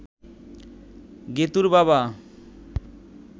গেতুঁর বাবা